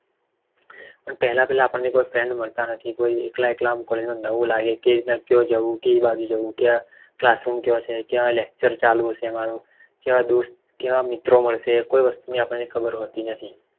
પણ પેહલા પેહલા આપદને કોઈ friend મળતા નથી કોઈ એકલા એકલા આમ કોઈનો નવે લાગે કે કેવી રીતના ક્યાં જવું કેવી રીતના જવું કઈ બાજુ જવું ક્યાં lecture ચાલુ હશે મારુ કેવા મિત્રો મળશે કોઈ વસ્તુ ની આપણને ખબર હોતી નથી